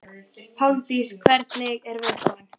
Eru þeir að fá bakreikning í höfuðið eftir nokkur ár?